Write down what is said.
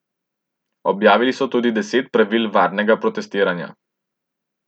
Objavili so tudi deset pravil varnega protestiranja.